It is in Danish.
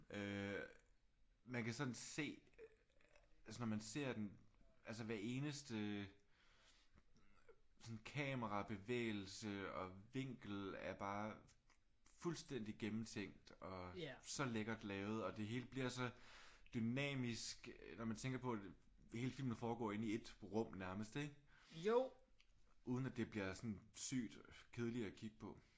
Øh man kan sådan se altså når man ser den altså hver eneste sådan kamerabevægelse og vinkel er bare fuldstændig gennemtænkt og så lækkert lavet. Og det hele bliver så dynamisk når man tænker på at hele filmen foregår i ét rum nærmest. Uden at det bliver sådan sygt kedeligt at kigge på